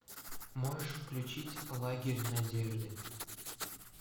можешь включить лагерь надежды